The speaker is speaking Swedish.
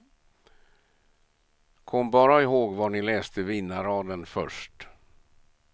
Kom bara ihåg var ni läste vinnarraden först.